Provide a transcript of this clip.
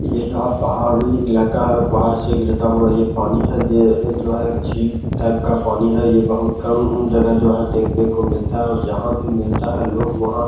ये जो पहाड़ी इलाका है और पहाड़ से गिरता हुआ ये पानी है ये जो है एक झील टाइप का पानी है यह बहुत कम जगह जो है देखने को मिलता है और जहाँ भी मिलता है लोग वहाँ --